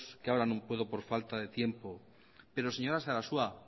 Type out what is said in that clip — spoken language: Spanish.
que ahora no puedo por falta de tiempo pero señora sarasua